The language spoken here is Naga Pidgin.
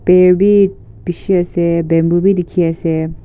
per bhi bishi ase bamboo bhi dikhi ase.